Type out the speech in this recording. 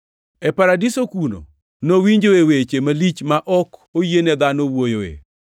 E paradiso kuno nowinjoe weche malich ma ok oyiene dhano wuoyoe.